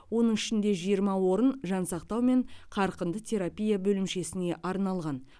оның ішінде жиырма орын жансақтау мен қарқынды терапия бөлімшесіне арналған